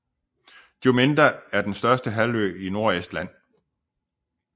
Juminda er den største halvø i Nordestland